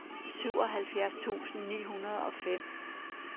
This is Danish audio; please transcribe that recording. syvoghalvfjerds tusind ni hundrede og fem